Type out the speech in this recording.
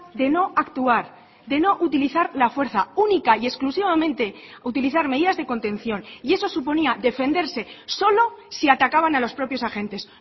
de no actuar de no utilizar la fuerza única y exclusivamente utilizar medidas de contención y eso suponía defenderse solo si atacaban a los propios agentes